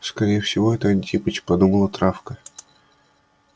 скорее всего это антипыч подумала травка